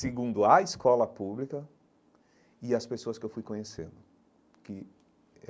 segundo a escola pública e as pessoas que eu fui conhecendo que eh.